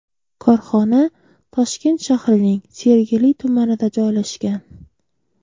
Korxona Toshkent shahrining Sergeli tumanida joylashgan.